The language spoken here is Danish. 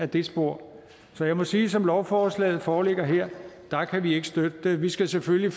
det spor så jeg må sige at som lovforslaget foreligger her kan vi ikke støtte det vi skal selvfølgelig